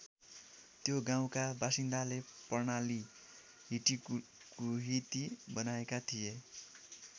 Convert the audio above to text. त्यो गाउँका बासिन्दाले प्रणाली हिटिकुहिती बनाएका थिए।